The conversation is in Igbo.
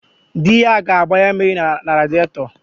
Di ya ga-agbanye mmiri na radịetọ